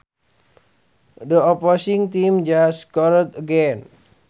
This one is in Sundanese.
The opposing team just scored again